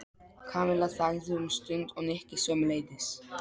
Kamilla þagði um stund og Nikki sömuleiðis.